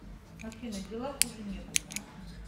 афина дела хуже некуда